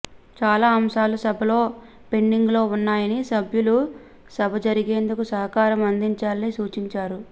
చాలా అంశాలు సభలో పెండింగ్లో ఉన్నాయని సభ్యులు సభ జరిగేందుకు సహకారం అందించాలని సూచించారు